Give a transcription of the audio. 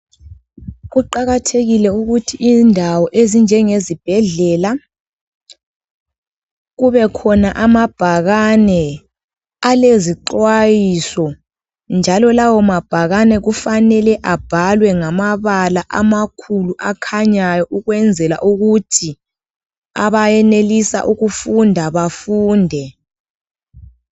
Kuqakathekile ukuthi indawo ezinjengezibhedlela kubekhona amabhakane alezixwayiso, njalo lawo mabhakane kufanele abhalwe ngamabala amakhulu akhanyayo ,ukwenzela ukuthi abayenelisa ukufunda bafunde.